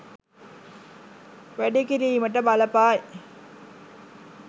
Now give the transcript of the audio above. වැඩි කිරීමට බලපායි.